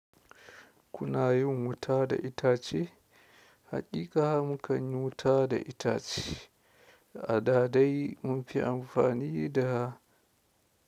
Kuna yin wuta da itace? Haƙiƙa mu kan yi wuta da itace. A da dai mun fi amfani da.